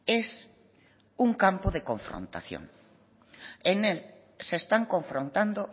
es un campo de confrontación en él se están confrontando